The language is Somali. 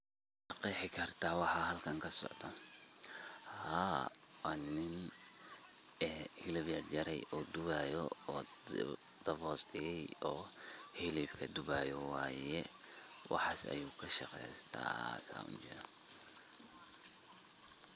Maqeexi kartah waxa halkan kasocdoh haa wa nin helib jarjaray duubayo daab hoosdikay oo helibka duubayo waye waxasi ayu kashaqeeysatah xaas Aya u jeedah.